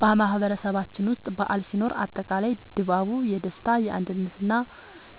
በማህበረሰባችን ውስጥ በዓል ሲኖር አጠቃላይ ድባቡ የደስታ፣ የአንድነት እና